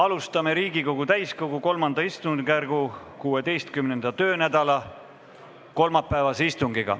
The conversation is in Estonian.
Alustame Riigikogu täiskogu III istungjärgu 16. töönädala kolmapäevast istungit.